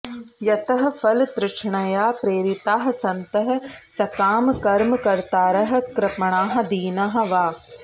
यतः फलतृष्णया प्रेरिताः सन्तः सकामकर्मकर्तारः कृपणाः दीनाः वा